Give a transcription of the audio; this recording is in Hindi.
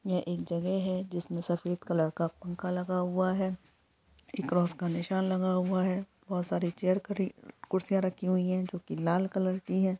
यह एक जगह है जिसमें सफ़ेद कलर का पंखा लगा हुआ है क्रॉस का निशान लगा हुआ है बहुत सारे चेयर खड़ी कुर्सियां रखी हुए है जो की लाल कलर की है।